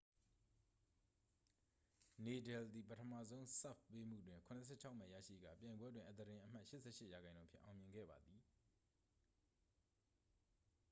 နေဒယ်သည် ပထမဆုံး ဆာ့ဗ်ပေးမှုတွင် 76 မှတ်ရရှိကာ ပြိုင်ပွဲတွင် အသားတင်အမှတ် 88% ဖြင့် အောင်မြင်ခဲ့ပါသည်